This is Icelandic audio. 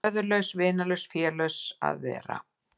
Föðurlaus, vinalaus, félaus að vera.